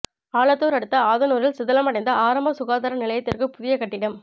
ஆலத்தூர் அடுத்த ஆதனூரில் சிதிலமடைந்த ஆரம்ப சுகாதார நிலையத்திற்கு புதிய கட்டிடம்